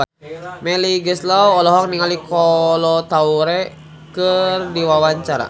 Melly Goeslaw olohok ningali Kolo Taure keur diwawancara